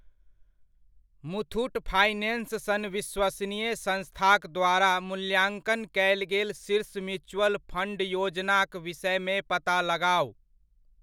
Muthoot finance सन विश्वसनीय संस्थाक द्वारा मूल्याङ्कन कयल गेल शीर्ष म्युचअल फण्ड योजनाक विषयमे पता लगाउ।